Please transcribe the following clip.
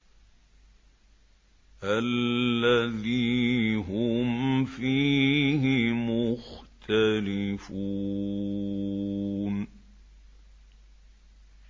الَّذِي هُمْ فِيهِ مُخْتَلِفُونَ